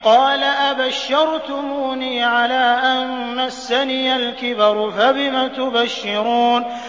قَالَ أَبَشَّرْتُمُونِي عَلَىٰ أَن مَّسَّنِيَ الْكِبَرُ فَبِمَ تُبَشِّرُونَ